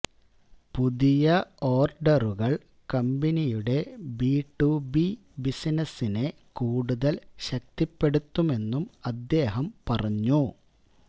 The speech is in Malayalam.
പുതിയ ഓര്ഡറുകള് കമ്പനിയുടെ ബി ടു ബി ബിസിനസിനെ കൂടുതല് ശക്തിപ്പെടുത്തുമെന്നും അദ്ദേഹം പറഞ്ഞു